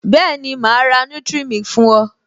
Bẹẹni, ma ra nutric milk fún o